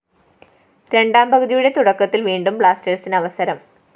രണ്ടാം പകുതിയുടെ തുടക്കത്തില്‍ വീണ്ടും ബ്ലാസ്‌റ്റേഴ്‌സിന് അവസരം